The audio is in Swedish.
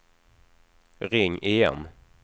ring igen